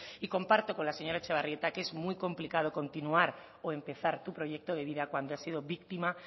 y comparto con la señora etxebarrieta que es muy complicado continuar o empezar tu proyecto de vida cuando has sido víctima